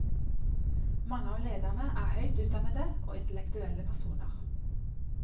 Mange av lederne er høyt utdannede og intellektuelle personer.